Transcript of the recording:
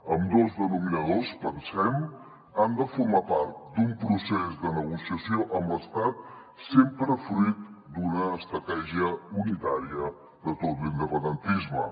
ambdós denominadors pensem han de formar part d’un procés de negociació amb l’estat sempre fruit d’una estratègia unitària de tot l’independentisme